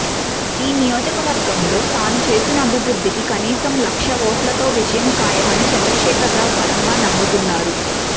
ఈ నియోజకవర్గంలో తాను చేసిన అభివ్రుద్ధికి కనీసం లక్ష ఓట్లతో విజయం ఖాయమని చంద్రశేఖర్ రావు బలంగా నమ్ముతున్నారు